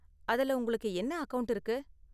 அதுல உங்களுக்கு என்ன அக்கவுண்ட் இருக்கு?